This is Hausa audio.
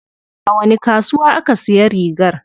A wani kasuwa aka siya rigar?